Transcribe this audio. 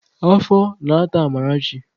Afọ na-ata Amarachi.